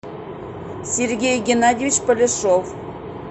сергей геннадьевич поляшов